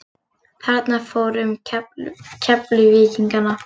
Þarna fór um Keflvíkingana.